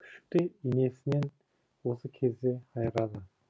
күшікті енесінен осы кезде айырады